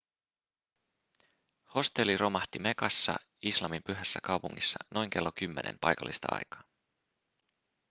hostelli romahti mekassa islamin pyhässä kaupungissa noin kello 10 paikallista aikaa